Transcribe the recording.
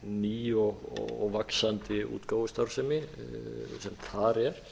ný og vaxandi útgáfustarfsemi sem þar er